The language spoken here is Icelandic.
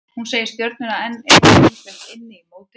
Hann segir Stjörnuna enn eiga ýmislegt inni í mótinu.